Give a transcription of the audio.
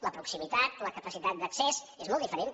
la proximitat la capacitat d’accés és molt diferent